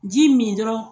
Ji min dɔrɔn